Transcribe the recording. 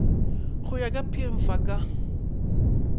go ya ka pmfa ka